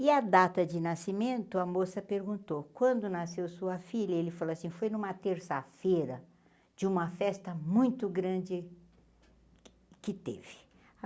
E a data de nascimento, a moça perguntou, quando nasceu sua filha, ele falou assim, foi numa terça-feira de uma festa muito grande que teve.